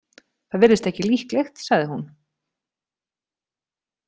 Það virðist ekki líklegt, sagði hún.